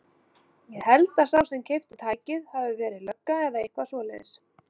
Ég held að sá sem keypti tækið hafi verið lögga eða eitthvað svoleiðis.